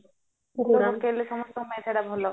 ସମସ୍ତଙ୍କ ପାଇଁ ସେଇଟା ଭଲ